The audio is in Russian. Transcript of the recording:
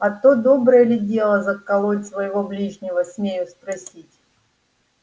а то доброе ли дело заколоть своего ближнего смею спросить